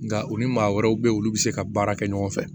Nka u ni maa wɛrɛw be yen olu be se ka baara kɛ ɲɔgɔn fɛ